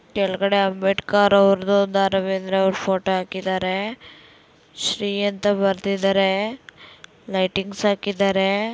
ಕೆಳಗಡೆ ಅಂಬೇಡ್ಕರ್ ಅವರ್ದು ದ .ರಾ ಬೇಂದ್ರೆ ಅವರದು ಫೋಟೋ ಹಾಕಿದ್ದಾರೆ. ಶ್ರೀ ಅಂತ ಬರೆದಿದ್ದಾರೆ ಲೈಟಿಂಗ್ಸ್ ಹಾಕಿದ್ದಾರೆ.